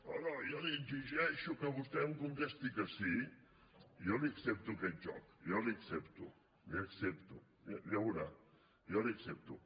no no jo li exigeixo que vostè em contesti que sí jo li accepto aquest joc jo l’hi accepto l’hi accepto ja ho veurà jo l’hi accepto